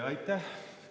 Aitäh!